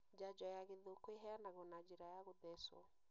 Njanjo ya gĩthũkũ iheanagwo na njĩra ya gũthecwo